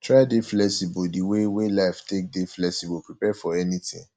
try dey flexible di wey wey life take dey flexible prepare for anything